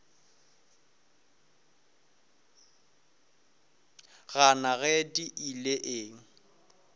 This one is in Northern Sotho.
gana ge di ile eng